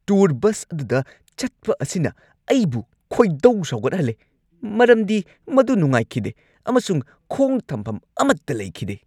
Tour ꯕꯁ ꯑꯗꯨꯗ ꯆꯠꯄ ꯑꯁꯤꯅ ꯑꯩꯕꯨ ꯈꯣꯏꯗꯧ ꯁꯥꯎꯒꯠꯍꯜꯂꯦ ꯃꯔꯝꯗꯤ ꯃꯗꯨ ꯅꯨꯡꯉꯥꯏꯈꯤꯗꯦ ꯑꯃꯁꯨꯡ ꯈꯣꯡ ꯊꯝꯐꯝ ꯑꯃꯠꯇ ꯂꯩꯈꯤꯗꯦ꯫